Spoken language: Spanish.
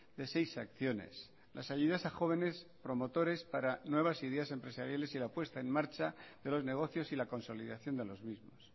de seis acciones las ayudas a jóvenes promotores para nuevas ideas empresariales y la puesta en marcha de los negocios y la consolidación de los mismos